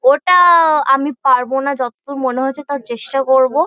ওটা-আ-আ আমি পারবো না যতদূর মনে হচ্ছে। তাও চেষ্টা করবো ।